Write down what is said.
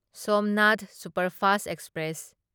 Somnath superfast express